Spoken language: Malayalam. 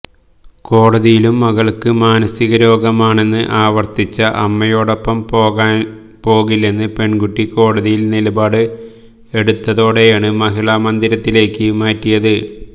കോടതിയിലും മകൾക്ക് മാനസിക രോഗമാണെന്ന് ആവർത്തിച്ച അമ്മയോടൊപ്പം പോകില്ലെന്ന് പെൺകുട്ടി കോടതിയിൽ നിലപാട് എടുത്തതോടെയാണ് മഹിളാ മന്ദിരത്തിലേക്ക് മാറ്റിയത്